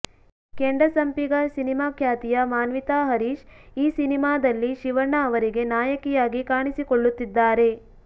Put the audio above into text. Kendasampige cinema ಖ್ಯಾತಿಯ ಮಾನ್ವಿತಾ ಹರೀಶ್ ಈ ಸಿನಿಮಾದಲ್ಲಿ ಶಿವಣ್ಣ ಅವರಿಗೆ ನಾಯಕಿಯಾಗಿ ಕಾಣಿಸಿಕೊಳ್ಳುತ್ತಿದ್ದಾರೆ